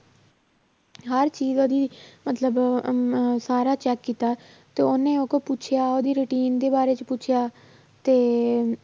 ਹਰ ਚੀਜ਼ ਉਹਦੀ ਮਤਲਬ ਸਾਰਾ check ਕੀਤਾ ਤੇ ਉਹਨੇ ਉਹਤੋਂ ਪੁੱਛਿਆ ਉਹਦੀ routine ਦੇ ਬਾਰੇ 'ਚ ਪੁੱਛਿਆ ਤੇ